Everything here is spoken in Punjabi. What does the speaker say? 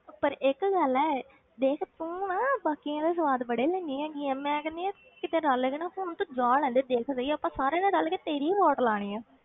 ਪਰ ਇੱਕ ਗੱਲ ਹੈ ਦੇਖ ਤੂੰ ਨਾ ਬਾਕੀਆਂ ਦਾ ਸਵਾਦ ਬੜੇ ਲੈਂਦੀ ਹੈਗੀ ਆਂ, ਮੈਂ ਕਹਿੰਦੀ ਹਾਂ ਕਿਤੇ ਨਾਲ ਲੈ ਜਾਣਾ ਪੁੱਤ ਜਾ ਲੈਣ ਦੇ ਦੇਖ ਸਹੀ ਆਪਾਂ ਸਾਰਿਆਂ ਨੇ ਰਲ ਕੇ ਤੇਰੀ ਹੀ ਵਾਟ ਲਾਉਣੀ ਆਂ।